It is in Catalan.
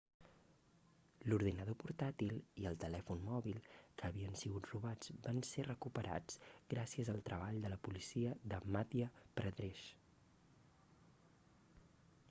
l'ordinador portàtil i el telèfon móbil que havien sigut robats van ser recuperats gràcies al treball de la policia de madhya pradesh